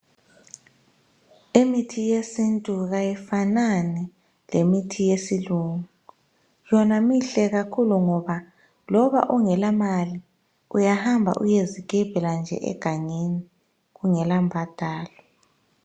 Imithi yesintu kayifanani lemithi yesilungu. Yona mihle kakhulu ngoba loba ungela mali uyahamba uyezigebhela nje egangeni kungela mbadalo.